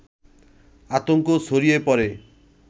আতঙ্ক ছড়িয়ে পড়ে